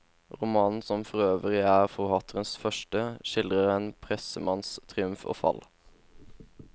Romanen, som forøvrig er forfatterens første, skildrer en pressemanns triumf og fall.